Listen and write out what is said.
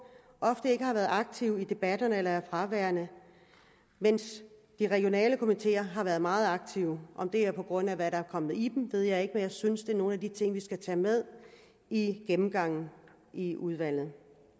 ofte ikke har været aktive i debatterne eller er fraværende mens de regionale komiteer har været meget aktive om det er på grund af hvad der er kommet i dem ved jeg ikke men jeg synes det er nogle af de ting vi skal tage med i gennemgangen i udvalget